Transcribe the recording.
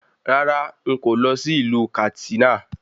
Rárá, n kò ní lọ sí ìlú Kàtsínà